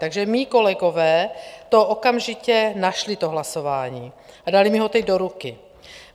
Takže mí kolegové to okamžitě našli, to hlasování, a dali mi ho teď do ruky.